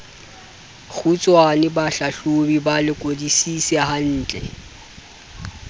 kgutshwane bahlahlobi ba lekodisise hantle